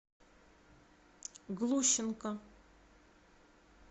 глущенко